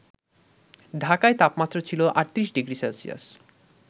ঢাকায় তাপমাত্রা ছিল ৩৮ ডিগ্রি সেলসিয়াস